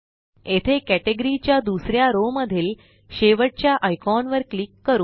येथे कटेगरी च्या दुसऱ्या रो मधील शेवटच्या आयकॉन वर क्लिक करू